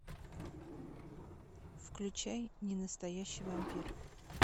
включай ненастоящий вампир